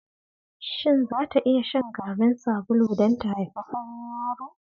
shin zata iya shan garin sabulu don ta haifi farin yaro?